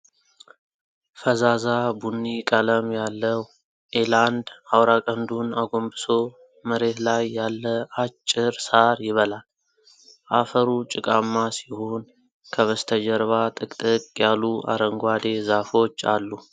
ፈዛዛ ቡኒ ቀለም ያለው ኤላንድ አውራ ቀንዱን አጎንብሶ መሬት ላይ ያለ አጭር ሣር ይበላል። አፈሩ ጭቃማ ሲሆን፣ ከበስተጀርባ ጥቅጥቅ ያሉ አረንጓዴ ዛፎች አሉ።